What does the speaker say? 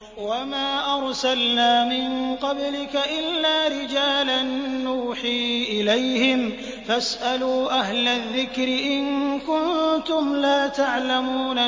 وَمَا أَرْسَلْنَا مِن قَبْلِكَ إِلَّا رِجَالًا نُّوحِي إِلَيْهِمْ ۚ فَاسْأَلُوا أَهْلَ الذِّكْرِ إِن كُنتُمْ لَا تَعْلَمُونَ